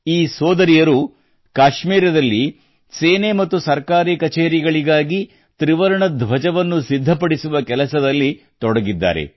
ಈ ಸೋದರಿಯರು ಕಾಶ್ಮೀರದಲ್ಲಿ ಸೇನೆ ಮತ್ತು ಸರ್ಕಾರಿ ಕಚೇರಿಗಳಿಗಾಗಿ ತ್ರಿವರ್ಣ ಧ್ವಜವನ್ನು ಸಿ ಸಿದ್ಧಪಡಿಸುವ ಕೆಲಸದಲ್ಲಿ ತೊಡಗಿದ್ದಾರೆ